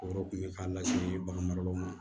O yɔrɔ tun ye k'a lase bagan maralaw ma